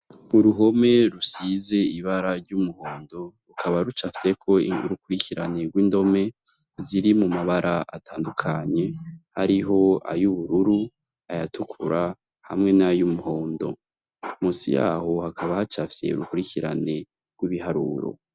Uruhome rusize ibara ry'umuhondo rukaba rucafyeko urukurikirane rw'indome ziri mu mabara atandukanye, hariho ayubururu ayatukura hamwe n'ayumuhondo, musi yaho hakaba hacafye urukurikirane rw'ibiharuro.